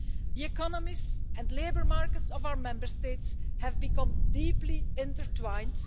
The economies and labour markets of our Member States have become deeply intertwined.